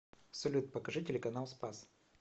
салют покажи телеканал спас